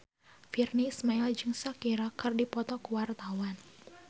Virnie Ismail jeung Shakira keur dipoto ku wartawan